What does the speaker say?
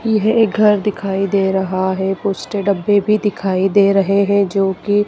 यह ये घर दिखाई दे रहा है कुछ तो डब्बे भी दिखाई दे रहे हैं जोकि--